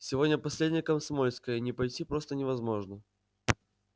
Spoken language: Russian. сегодня последнее комсомольское не пойти просто невозможно